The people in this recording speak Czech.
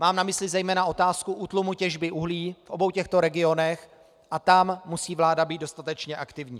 Mám na mysli zejména otázku útlumu těžby uhlí v obou těchto regionech a tam musí vláda být dostatečně aktivní.